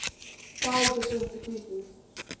size difference decreases